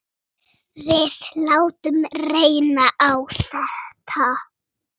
Við látum reyna á þetta.